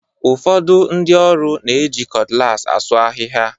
Ụfọdụ ndị ọrụ na-eji cutlass asuu ahịhịa.